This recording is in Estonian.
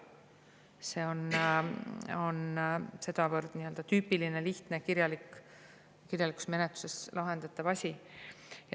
See on tüüpiline, lihtne kirjalikus menetluses lahendatav asi.